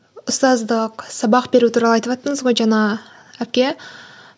ұстаздық сабақ беру туралы айтываттыңыз ғой жаңа әпке